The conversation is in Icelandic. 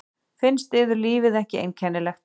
Finnst yður lífið ekki einkennilegt?